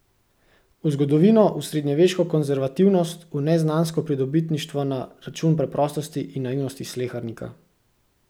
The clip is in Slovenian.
V zgodovino, v srednjeveško konzervativnost, v neznansko pridobitništvo na račun preprostosti in naivnosti slehernika.